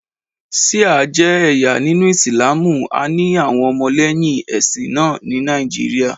Ṣìá jẹ́ ẹ̀yà nínú Ìsìlámù, a ní àwọn ọmọlẹ́yìn ẹ̀sìn náà ni Nàìjíríà.